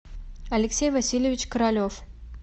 алексей васильевич королев